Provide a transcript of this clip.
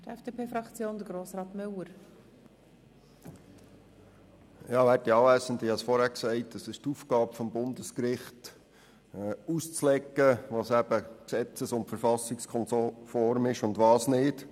Wie gesagt worden ist, ist es die Aufgabe des Bundesgerichts, auszulegen, was gesetzes- und verfassungskonform ist und was nicht.